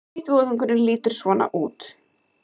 Hvítvoðungurinn lítur svona út